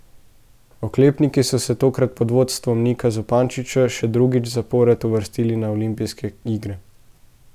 Oklepniki so se, tokrat pod vodstvom Nika Zupančiča, še drugič zapored uvrstili na olimpijske igre.